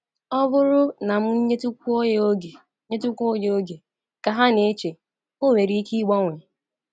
‘Ọ bụrụ na m nyetụkwuo ya oge nyetụkwuo ya oge, ’ ka ha na-eche, 'ọ nwere ike ịgbanwe.'